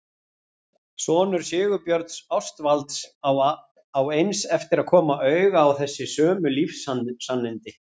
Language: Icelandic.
Sonur Sigurbjörns Ástvalds á að eins eftir að koma auga á þessi sömu lífssannindi.